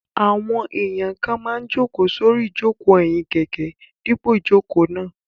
Àwọn èèyàn kan máa n jòkó sórí ìjòkó ẹ̀yìn kẹ̀kẹ́ dípò ìjòkó náà